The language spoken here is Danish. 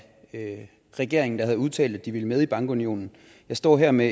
af regeringen der havde udtalt at de ville med i bankunionen jeg står her med